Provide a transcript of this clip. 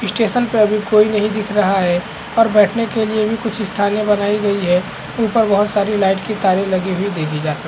Station पे अभी कोई नहीं दिख रहा है और बैठने के लिए भी कुछ स्थाने बनाई गई हैं उपर बहुत सारी लाइट की तारे लगी देखी जा सकती हैं।